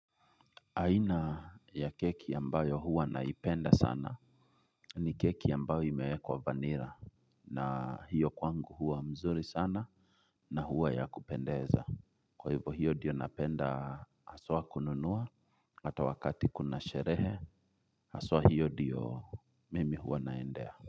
Aina ya keki ambayo huwa naipenda sana. Ni keki ambayo imewe kwa vanira. Na hiyo kwangu huwa mzuri sana. Na huwa ya kupendeza. Kwa hivyo hiyo diyo napenda aswa kununua. Ata wakati kuna sherehe aswa hiyo diyo mimi huwa naendea.